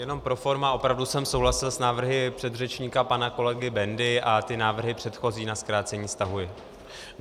Jenom pro forma, opravdu jsem souhlasil s návrhy předřečníka pana kolegy Bendy a ty návrhy předchozí na zkrácení stahuji.